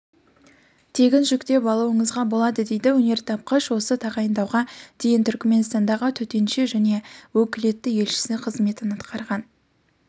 тегін жүктеп алуыңызға болады дейді өнертапқыш осы тағайындауға дейін түркіменстандағы төтенше және өкілетті елшісі қызметін атқарған